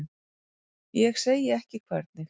Ég segi ekki hvernig.